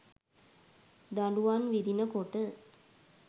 දඬුවම් විඳින කොට